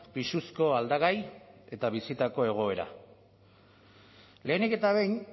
pisuzko aldagai eta bizitako egoera lehenik eta behin